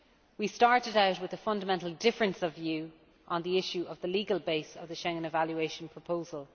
We started out with a fundamental difference of view on the issue of the legal base of the Schengen evaluation proposal.